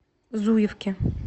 зуевке